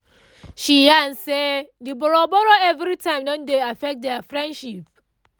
she yarn say the borrow-borrow every time don dey affect their friendship